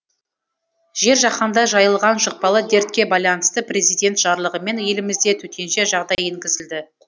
жер жаһанға жайылған жұқпалы дертке байланысты президент жарлығымен елімізде төтенше жағдай енгізілді